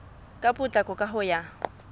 ka potlako ka ho ya